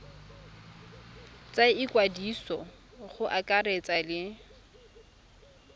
tsa ikwadiso go akaretsa le